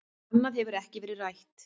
Annað hefur ekkert verið rætt